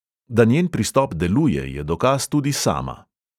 Da njen pristop deluje, je dokaz tudi sama.